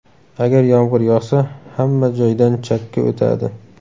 Agar yomg‘ir yog‘sa, hamma joydan chakki o‘tadi.